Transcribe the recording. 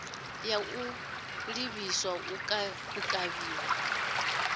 ya u ḓihwala u kavhiwa